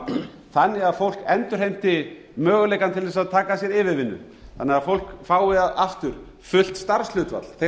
gang þannig að fólk endurheimti möguleikann til þess að taka að sér yfirvinnu þannig að fólk fái aftur fullt starfshlutfall þeir